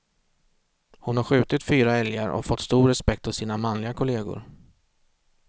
Hon har skjutit fyra älgar och fått stor respekt hos sina manliga kollegor.